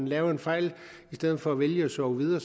lavet en fejl i stedet for at vælge at sove videre